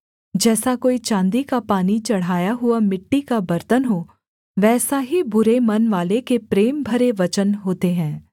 जैसा कोई चाँदी का पानी चढ़ाया हुआ मिट्टी का बर्तन हो वैसा ही बुरे मनवाले के प्रेम भरे वचन होते हैं